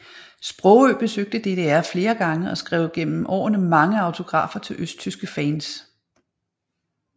Sprogøe besøgte DDR flere gange og skrev gennem årene mange autografer til østtyske fans